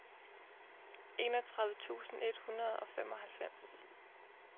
enogtredive tusind et hundrede og femoghalvfems